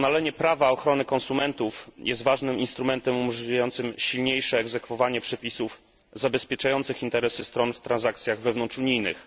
Doskonalenie prawa ochrony konsumentów jest ważnym instrumentem umożliwiającym silniejsze egzekwowanie przepisów zabezpieczających interesy stron w transakcjach wewnątrzunijnych.